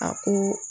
A ko